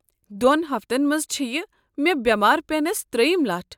دۄن ہفتن منٛز چھےٚ یہِ مےٚ بٮ۪مار پٮ۪نس ترٛیٚیم لٹھ۔